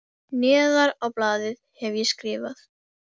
Neðar á blaðið hef ég skrifað